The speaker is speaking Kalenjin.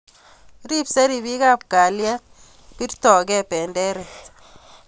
Ribsei ripikab kalyet, birtokei benderet